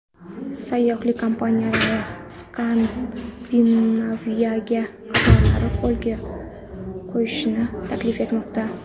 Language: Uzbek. Sayyohlik kompaniyalari Skandinaviyaga qatnovlarni yo‘lga qo‘yishni taklif etmoqda.